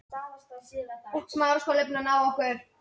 Og hver eru viðbrögðin?